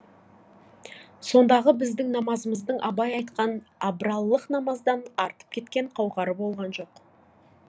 сондағы біздің намазымыздың абай айтқан абралылық намаздан артып кеткен қауқары болған жоқ